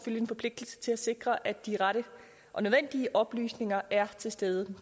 en forpligtelse til at sikre at de rette og nødvendige oplysninger er til stede